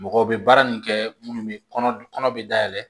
Mɔgɔw bɛ baara nin kɛ munnu be kɔnɔ be dayɛlɛ